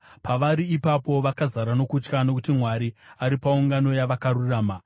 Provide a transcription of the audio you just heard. Pavari ipapo, vakazara nokutya, nokuti Mwari ari paungano yavakarurama.